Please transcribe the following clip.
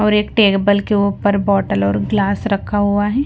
और एक टेबल के ऊपर बोतल और ग्लास रखा हुआ है।